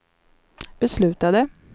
beslutade